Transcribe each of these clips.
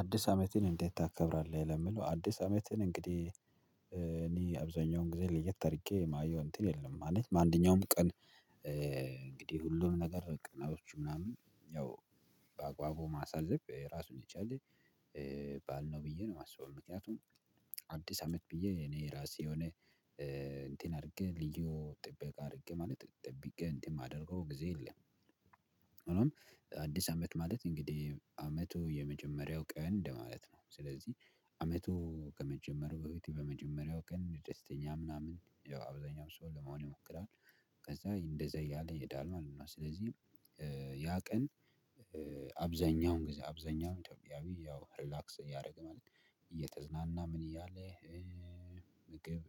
አዲስ አመትን እንዴት ታከብራለህ? ለምለው አዲስ አመትን እንግዲህ እኔ አብዛኛውን ግዜ ልየት አርጌ የማየው እንትን የለም ማለት በአንደኛውም ቀን። እንግዲህ ሁሉም ነገር ቃናቶቹ ምናምን ያው በአግባቡ ማሳዘብ ራሱን ይቻለ። ባል ነው ብዬ ነው ማስበው ምክንያቱም አዲስ አመት ብዬ እኔ ራሴ የሆነ እንትን አርጌ ልዩ ጥበቃ አርጌ ማለት ጠብቄ እንትን ማደርገው ግዜ። የለም አዲስ አመት ማለት እንግዲህ አመቱ የመጀመሪያው ቀን እንደማለት ነው። ስለዚህ አመቱ ከመጀመሩ በፊት በመጀመሪያው ቀን ደስተኛ ምናምን ያው አብዛኛው ሰው ለመሆን ይሞክራል። ከዛ እንደዛ እያለ ይሄዳል ማለት ነው። እና ስለዚህ ያ ቀን አብዛኛውን ግዜ አብዛኛውን ኢትዮጵያዊ ያው ሪላክስ እያረገ ማለት ነው እየተዝናና ምን እያለ ምግብ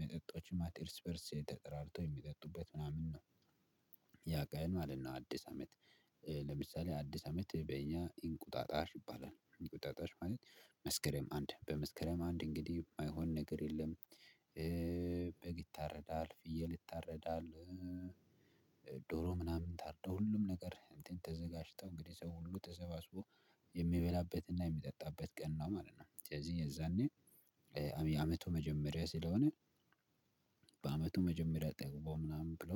መጠጦች ማለት እርስ በርስ ተጠራርቶ የሚጠጡበት ምናምን ነው። ያ ቀን ማለት ነው። አዲስ አመት። ለምሳሌ አዲስ አመት በእኛ ኢንቁጣጣሽ ይባላል። እንቁጣጣሽ ማለት መስከረም አንድ በመስከረም አንድ እንግዲህ ማይሆን ነገር የለም። ይታረዳል ፍየል ይታረዳል። ዶሮ ምናምን ታርዶ ሁሉም ነገር እንትን ተዘጋጅተው እንግዲህ ሰው ሁሉ ተሰባስቦ የሚበላበትና የሚጠጣበት ቀን ነው ማለት ነው። ሰለዚህ የዛኔ የአመቱ መጀመሪያ ስለሆነ በአመቱ መጀመሪያ ጠግቦ ምናምን ብሎ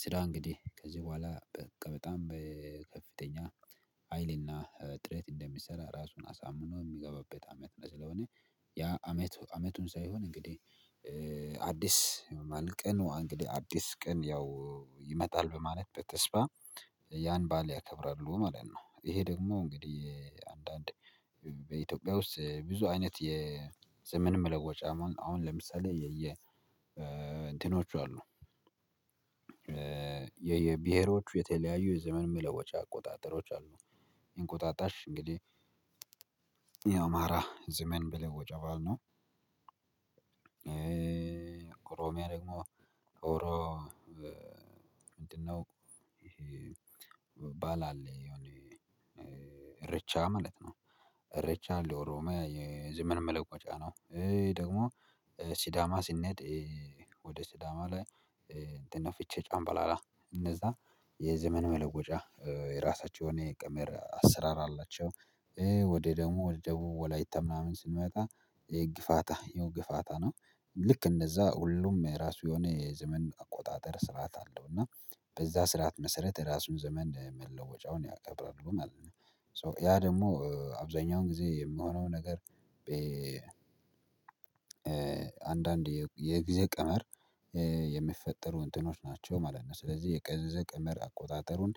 ስራ እንግዲህ ከዚህ በኋላ በቃ በጣም በከፍተኛ ሀይልና ጥረት እንደሚሰራ ራሱን አሳምኖ ሚገባበት አመት ነው። ስለሆነ ያ አመት አመቱን ሳይሆን እንግዲህ አዲስ ቀን እንግዲህ አዲስ ቀን ያው ይመጣል በማለት በተስፋ ያን ባል ያከብራሉ ማለት ነው። እሄ ደግሞ እንግዲህ አንዳንድ በኢትዮጵያ ውስጥ ብዙ አይነት የዘመን መለወጫ አሁን አሁን ለምሳሌ የየ እንትኖች አሉ። የየብሄሮቹ የተለያዩ የዘመን መለወጫ አቆጣጠሮች አሉ። እንቁጣጣሽ እንግዲህ የአማራ ዘመን መለወጫ ባዓል ነው። ኮሮሚያ ደግሞ ኦሮ ምንድነው? ይሄ ባል አለ የሆነ እርቻ ማለት ነው። ርቻ ለኦሮማ የዘመን መለወጫ ነው። እሄ ደግሞ ሲዳማ ሲንድ ወደ ሲዳማ ላይ እንትን ነው ፍቼ ጨንበላላ እነዛ የዘመን መለወጫ የራሳቸው የሆነ የቀመር አሰራር አላቸው። ወደ ደግሞ ወደ ደቡብ ወላይታ ምናምን ስንመጣ ግፋታ ያው ግፋታ ነው። ልክ እንደዛ ሁሉም የራሱ የሆነ የዘመን አቆጣጠር ስርዓት አለው እና በዛ ስርዓት መሰረት የራሱን ዘመን መለወጫውን ያከብራሉ ማለት ነው። ያ ደሞ አብዛኛውን ግዜ የምሆነው ነገር አንዳንድ የጊዜ ቀመር የሚፈጠሩ እንትኖች ናቸው ማለት ነው። ስለዚህ የቀዘዘ ቀመር አቆጣጠሩን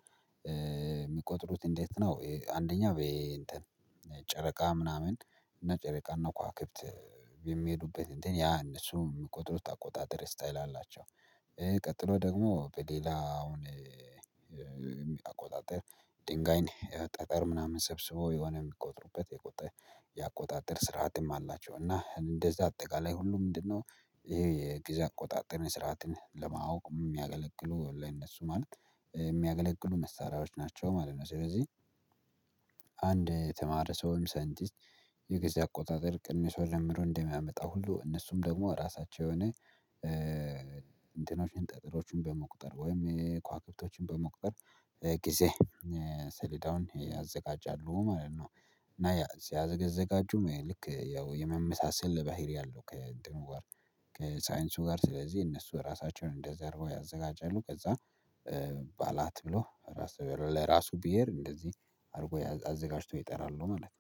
ሚቆጥሩት እንዴት ነው? አንደኛ በይ እንትን ጨረቃ ምናምን እና ጨረቃ እና ከዋክብት የሚሄዱበት እንትን ያ እነሱም ሚቆጥሩት አቆጣጠር ስታይል አላቸው። ቀጥሎ ደግሞ በሌላ አሁን ድንጋይ ጠጠር ምናምን ሰብስቦ የሆነ ሚቆጥሩበት የቁጥር ያቆጣጠር ስርዓትም አላቸው። እና እንደዛ አጠቃላይ ሁሉ ምንድነው? እሄ የግዜ አቆጣጠር ስርዓትን ለማወቅ እሚያገለግሉ ለነሱ ማለት የሚያገለግሉ መሳሪያዎች ናቸው ማለት ነው። ስለዚህ የተማረ ሰውም ሳይንቲስት የግዜ አቆጣጠር ቅንስወ ደምሮ እንደሚያመጣው ሁሉ እነሱም ደግሞ ራሳቸው የሆነ እንትኖችን ጠጥሮችን በመቁጠር ወይም የኳዋክብቶችን በመቁጠር ጊዜ ሰሌዳውን ያዘጋጃሉ ማለት ነው። እና ሲያዘጋጁም ያው ልክ ያው የመመሳሰል ባህሪ አለው ከእንትኑ ጋር ከሳይንሱ ጋር ስለዚህ እነሱ ራሳቸውን እንደዚ አረገው ያዘጋጃሉ ከዛ ባላት ብሎ ለራሱ ብሄር እንደዚህ አርጎ አዘጋጅቶ ይጠራሉ ማለት ነው